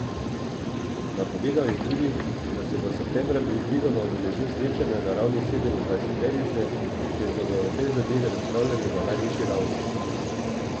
Napovedal je tudi, da se bo septembra predvidoma udeležil srečanja na ravni sedemindvajseterice, kjer bodo o tej zadevi razpravljali na najvišji ravni.